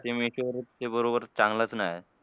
ते मीशो वर ते बरोबर चांगलंच नाही.